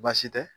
Baasi tɛ